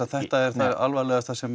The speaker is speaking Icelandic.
þetta er það alvarlegasta sem